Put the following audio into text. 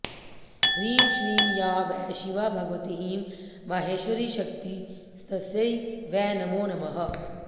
ह्रीं श्रीं या वै शिवा भगवती ईं माहेश्वरीशक्तिस्तस्यै वै नमो नमः